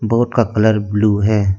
Boat का colour blue है।